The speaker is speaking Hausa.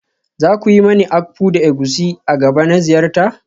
Za ku yi mani akpu da egusi a gaba na ziyarta?